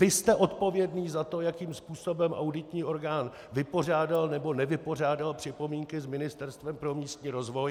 Vy jste odpovědný za to, jakým způsobem auditní orgán vypořádal nebo nevypořádal připomínky s Ministerstvem pro místní rozvoj.